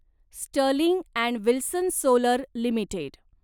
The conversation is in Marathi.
Sterling and Wilson Solar limited